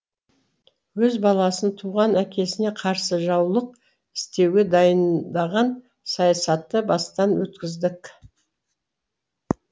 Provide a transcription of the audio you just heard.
өз баласын туған әкесіне қарсы жаулық істеуге дайындаған саясатты бастан өткіздік